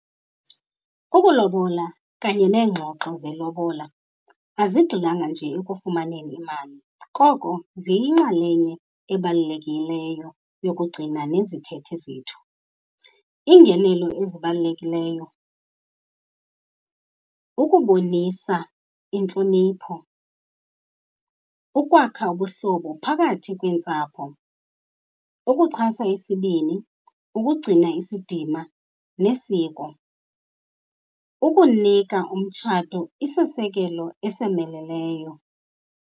Ukulobola kanye neengxoxo zelobola azigxilanga nje ekufumaneni imali, koko ziyinxalenye ebalulekileyo yokugcina nezithethe zethu. Iingenelo ezibalulekileyo ukubonisa intlonipho, ukwakha ubuhlobo phakathi kweentsapho, ukuxhasa isibini, ukugcina isidima nesiko, ukunika umtshato isisekelo esomeleleyo.